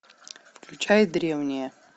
включай древние